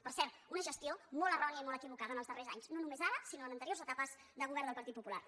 per cert una gestió molt errònia i molt equivocada en els darrers anys no només ara sinó en anteriors etapes de govern del partit popular